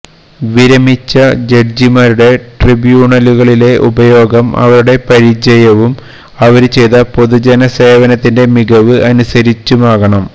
വിരമിച്ച ജഡ്ജിമാരുടെ ട്രിബ്യൂണലുകളിലെ ഉപയോഗം അവരുടെ പരിചയവും അവര് ചെയ്ത പൊതുജനസേവനത്തിന്റെ മികവ് അനുസരിച്ചുമാകണം